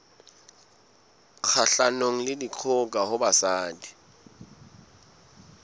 kgahlanong le dikgoka ho basadi